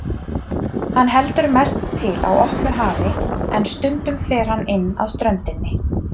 Hann heldur mest til á opnu hafi en stundum fer hann inn að ströndinni.